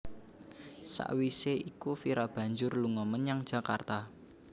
Sawisé iku Vira banjur lunga menyang Jakarta